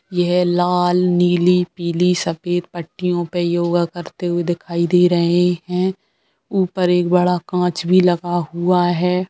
ये है लाल नीली पीले सफेद पट्टीयों पे योगा करते दिखाई दे रहे हैं ऊपर एक बड़ा कांच भी लगा हुआ है।